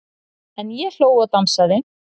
En ég hló og dansaði.